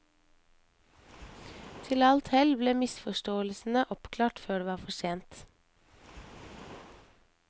Til alt hell ble misforståelsene oppklart før det var for sent.